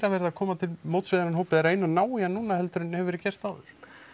verið að koma til móts við þennan hóp eða reyna að ná í hann núna heldur en hefur verið gert áður